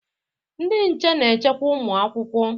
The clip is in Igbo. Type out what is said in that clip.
Ndị nche na-echekwa ụmụ akwụkwọ.